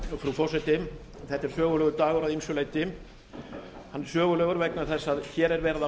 forseti þetta er sögulegur dagur að ýmsu leyti sögulegur vegna þess að hér er verið að